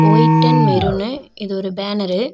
White and maroon இது ஒரு banner .